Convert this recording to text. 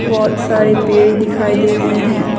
बहोत सारे पेड़ दिखाई दे रहे हैं।